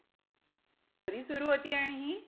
कधी सुरु होतीय आणि हि?